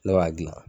Ne b'a dilan